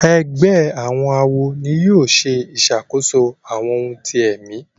Ègbé àwọn àwo ní yóò ṣe ìṣàkóso àwọn òun tí èmi